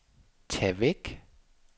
tag væk